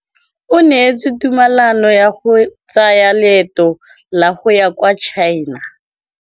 O neetswe tumalanô ya go tsaya loetô la go ya kwa China.